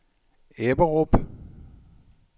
Ebberup